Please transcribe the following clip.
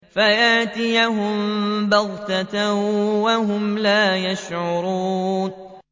فَيَأْتِيَهُم بَغْتَةً وَهُمْ لَا يَشْعُرُونَ